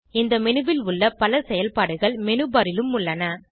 இந்த மேனு ல் உள்ள பல செயல்பாடுகள் மேனு பார் லும் உள்ளன